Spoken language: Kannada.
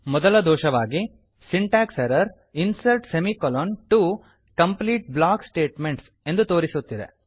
ಮೊದಲ ದೋಷವಾಗಿ syntax error insert semi colon to complete block statements ಎಂದು ತೋರಿಸುತ್ತಿದೆ